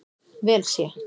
vel sé.